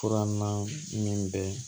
Furanna min bɛ